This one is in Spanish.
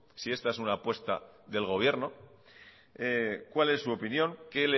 si esta es una apuesta del gobierno cuál es su opinión